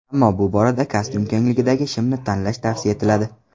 Ammo bu borada kostyum kengligidagi shimni tanlash tavsiya etiladi.